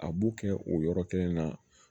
A b'u kɛ o yɔrɔ kelen na